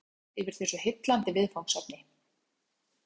Við sátum langt framá nótt yfir þessu heillandi viðfangsefni.